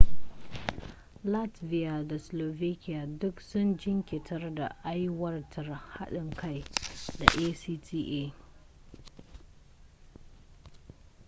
latvia da slovakia duk sun jinkirtar da aiwatar haɗin kai da acta